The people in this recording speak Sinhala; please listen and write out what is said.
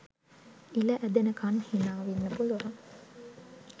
ඉල ඇදෙනකන් හිනා වෙන්න පුලුවන්